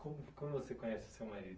Como, como você conhece o seu marido?